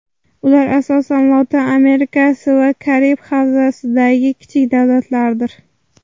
Ular asosan Lotin Amerikasi va Karib havzasidagi kichik davlatlardir .